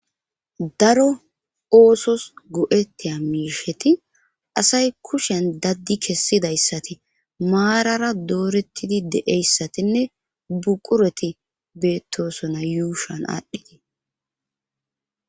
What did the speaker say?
Daro oosos go'ettiya miisheti asay kushan daddi kessidayssati maarara doorettidi deeyssatinne buqureti beettosona yuushan aadhdhitii